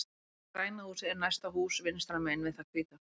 Græna húsið er næsta hús vinstra megin við það hvíta.